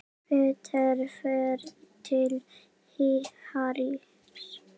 Peter fer til Harrys.